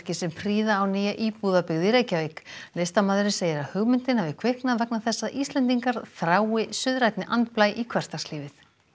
sem prýða á nýja íbúðabyggð í Reykjavík listamaðurinn segir að hugmyndin hafi kviknað vegna þess að Íslendingar þrái suðrænni andblæ í hversdagslífið